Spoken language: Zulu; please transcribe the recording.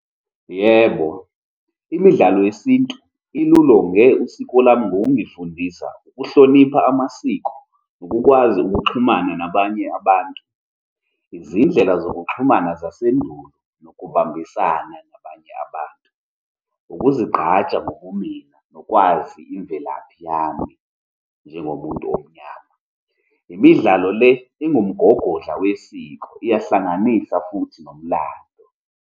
Yebo, imidlalo yesintu ilolonge usiko lami ngokungifundisa ukuhlonipha amasiko nokukwazi ukuxhumana nabanye abantu, izindlela zokuxhumana zasendulo nokubambisana nabanye abantu, ukuzigqaja ngobumina, nokwazi imvelaphi yami njengomuntu omnyama. Imidlalo le ingumgogodla wesiko, iyahlanganisa futhi inomlando.